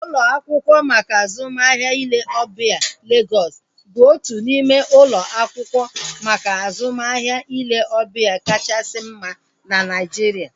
Ụlọ akwụkwọ maka azụmahịa ile ọbịa Legọs bụ otu n'ime ụlọ akwụkwọ maka azụmahịa ile ọbịa kachasị mma na Naijiria